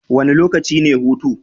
Wane lokaci ne hutu?